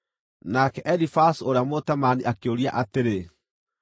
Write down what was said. Nake Elifazu ũrĩa Mũtemaani akĩũria atĩrĩ: